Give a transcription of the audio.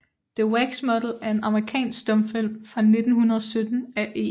The Wax Model er en amerikansk stumfilm fra 1917 af E